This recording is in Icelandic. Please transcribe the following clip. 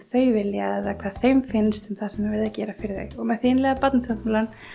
þau vilja eða hvað þeim finnst um það sem er verið að gera fyrir þau með innleiða Barnasáttmálann